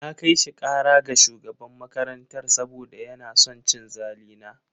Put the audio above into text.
Na kai shi kara ga shugaban makarantar saboda yana son cin zali na.